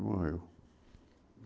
E morreu.